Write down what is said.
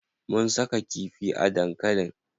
Mun saka kifi a dankalin.